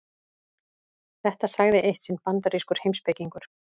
Þetta sagði eitt sinn bandarískur heimspekingur.